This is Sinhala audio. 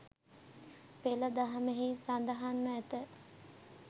පෙළ දහමෙහි සඳහන්ව ඇත.